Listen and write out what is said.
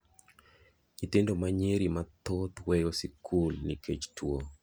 Nyithindo manyiri mathoth weyo sikul nikech tuo.